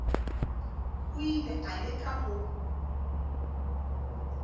o ile a leka go